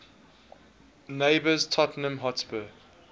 neighbours tottenham hotspur